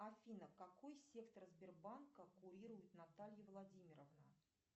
афина какой сектор сбербанка курирует наталья владимировна